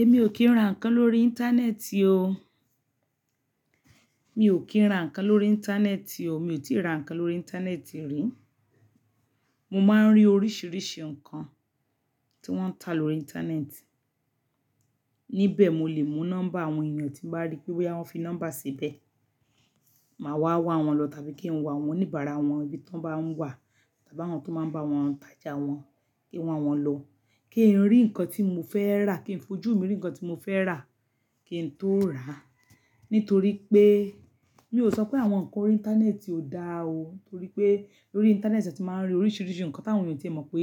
Èmi ò kí ń ra ǹkan lórí íńtánẹ́ẹ̀tì o. Mi ò kí ń ra ǹkan lórí íńtánẹ́ẹ̀tì o. Mi ò tíì ra ǹkan lórí íńtánẹ́ẹ̀tì rí. Mo máa ń rí oríṣìíríṣìí ǹkan tí wọ́n ń ta lórí íńtánẹ́ẹ̀tì. Níbẹ̀ mo lè mú nọ́mbà àwọn ènìyàn tí mo bá rí pé wí, àwọn fi nọ́mbà síbẹ̀. Màá wá wá wọn lọ tàbí kí n wá wọn ní bara wọn bí tọ bá ń wà, tàbí àwọn tó máa ń bá wọn tàjà wọn, kí n wá wọn lọ. Kí n rí ǹkan tí mo fẹ́ rà, kí n fojú mi rí ǹkan tí mo fẹ́ rà, kí n tó rà. Nítorí pé, mi ò sọ pé àwọn ǹkan lórí íńtánẹ́ẹ̀tì ò dáa o. Nítorí pé lórí íńtánẹ́ẹ̀tì ṣe a ti máa ń rí oríṣìíríṣìí ǹkan tí àwọn ènìyàn tí ẹ̀ mọ̀ pé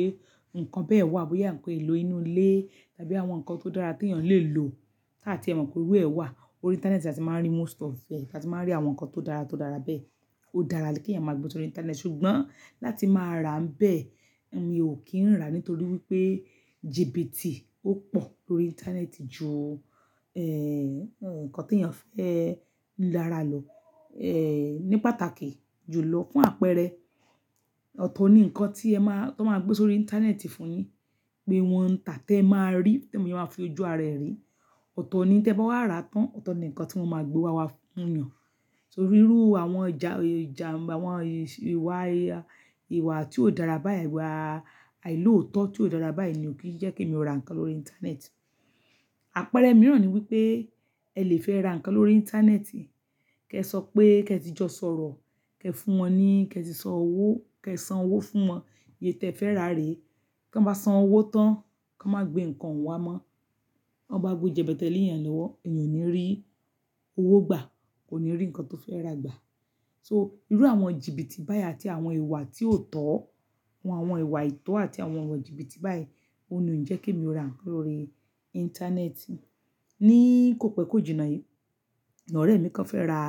ǹkan bẹ́ẹ̀ wà, bóyá ǹkan èlò inú ilé tàbí àwọn ǹkan tó dára tí ènìyàn lè lò tí àti ẹ̀ mọ̀ pé irú ẹ wà. Órí íńtánẹ́ẹ̀tì la ti máa ń rí most of e, ta ma rí àwọn ǹkan tó dára tó dára bẹ́ẹ̀. Ó dára rẹ kí ènìyàn máa gbé sórí íńtánẹ́ẹ̀tì ṣùgbọ́n láti máa ra ń bẹ́ẹ̀, èmi ò kí ń rà nítorí wípé jìbìtì ó pọ̀ lórí íńtánẹ́ẹ̀tì ju, ǹkan tí ènìyàn fẹ́ rà lọ, ní pàtàkì jù lọ fún àpẹẹrẹ. Ọ̀tọ̀ ni ǹkan tí ẹ máa, tí wọ́n máa gbé sórí íńtánẹ́ẹ̀tì fún yín pé wọn ń tà tí ẹ máa rí, tí ènìyàn ma fo ojú ara ẹ̀ rí. Ọ̀tọ̀ ni tí ẹ bá wà ra tán, ọ̀tọ̀ ni ǹkan tí wọ́n máa gbé wá wá fún ènìyàn. Torí irú àwọn ìjà, àwọn ìwà, ìwà tí ò dára báyìí, ìwà àìlóòótọ́ tí ò dára báyìí ni ò kí ń jẹ́ kí èmi rà ǹkan lórí íńtánẹ́ẹ̀tì. Àpẹẹrẹ mìíràn ni wípé ẹ lè fẹ́ ra ǹkan lórí íńtánẹ́ẹ̀tì, kí ẹ sọ pé kí ẹ ti jọ sọ̀rọ̀, kí ẹ fún wọn ní, kí ẹ ti san owó, kí ẹ san owó fún wọn iye tí ẹ fẹ́ rà re. Kí wọ́n bá san owó tán, kí wọ́n má gbé ǹkan ohun wá mọ́. Wọ́n bá gbé jẹ̀bẹ́tẹ̀ lé ènìyàn lọ́wọ́, ènìyàn ò ní rí owó gbà, kò ní rí ǹkan tó fẹ́ rà gbà. So irú àwọn jìbìtì báyìí àti àwọn ìwà tí ò tọ́, àwọn ìwà ìtọ́ àti àwọn ìwà jìbìtì báyìí, òun ni ó ń jẹ́ kí èmi rà ǹkan lórí íńtánẹ́ẹ̀tì. Ní ìkópe kójìna yìí, ọ̀rẹ́ mi kan fẹ́ ra,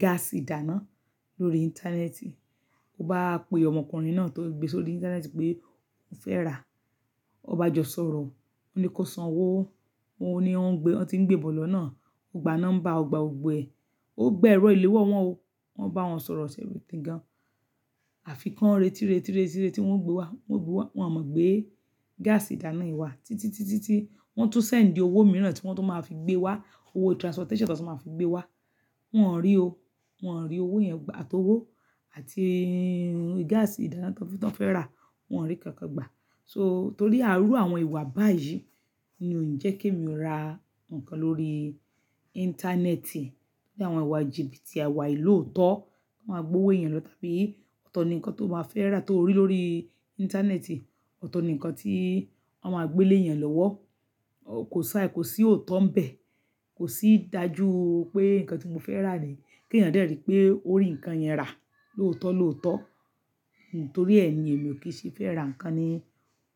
gáàsì ìdáná lórí íńtánẹ́ẹ̀tì. Ó bá pe ọmọkùnrin náà tó gbé e sórí íńtánẹ́ẹ̀tì pé ó fẹ́ rà, ó bá jọ sọ̀rọ̀, ó ní kí ó san owó, ó ní ó ń gbé, wọ́n ti ń gbé bọ̀ lọ́nà. Ó gba nọ́mbà, ó gba ògbe, ó gba ẹ̀rọ ìléwọ́ wọn o. Wọn bá wọn sọ̀rọ̀ ṣe everything gan. Àfi kan, retí, retí, retí tí wọ́n ń gbé wá, wọ́n gbé wá, wọn ò mọ̀ gbé gáàsì ìdáná yìí wá. Títí, títí, títí wọ́n tún sẹ̀ n di owó mìíràn tí wọ́n tó máa fi gbé wá, owó transportation tí wọ́n tó máa fi gbé wá. Wọn ò rí o. Wọn ò rí owó yẹn gbà, àti owó àti gáàsì ìdáná tí wọ́n fẹ́ rà, wọn ò rí kankan gbà. So torí àárù àwọn ìwà báyìí ni ó ń jẹ́ kí èmi rà ǹkan lórí íńtánẹ́ẹ̀tì. Torí àwọn ìwà jìbìtì, ìwà àìlóòótọ́, kí wọ́n máa gbé owó ènìyàn lọ tàbí ọ̀tọ̀ ni ǹkan tó máa fẹ́ rà tó rí lórí íńtánẹ́ẹ̀tì, ọ̀tọ̀ ni ǹkan tí wọ́n máa gbé lé èeyàn lọ́wọ́. Kò ṣáì, kò sí ọ̀tọ̀ ń bẹ̀, kò sí ìdájú pé ǹkan tí mo fẹ́ rà ní, kí ènìyàn de rí pé ó rí ǹkan yẹn rà, lóòótọ́ lóòótọ́. Nítorí ẹ ni èmi ò kí ń ṣì fẹ́ ra ǹkan ní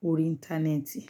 orí íńtánẹ́ẹ̀tì.